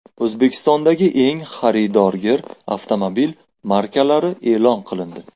O‘zbekistondagi eng xaridorgir avtomobil markalari e’lon qilindi.